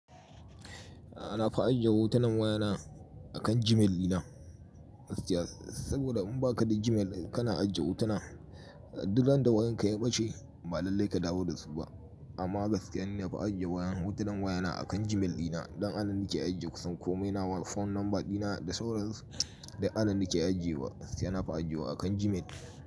A na fi ajiye hotunan wayana akan Gmail ɗina. Saboda in baka da Gmail kana ajiye hotuna, duk randa wayan ka ya ɓace ba lalai ka dawo da su ba. Amma gaskiya ni na fa ajiye wayan hotunan wayana akan Gmail ɗina. Don anan nake ajiye kusan komai, nawa phone number ɗina da sauransu. Duk anan nake ajiye wa, gaskiya na fi ajiye wa akan Gmail.